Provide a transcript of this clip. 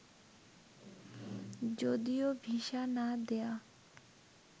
যদিও ভিসা না দেয়া